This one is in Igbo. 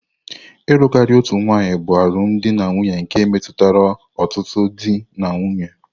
Ịlụ karịa otu nwanyị bụ alụmdi na nwunye nke metụtara ọtụtụ di na nwunye.